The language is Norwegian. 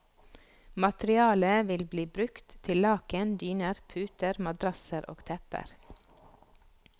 Materialet vil bli brukt til laken, dyner, puter, madrasser og tepper.